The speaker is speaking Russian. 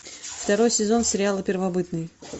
второй сезон сериала первобытные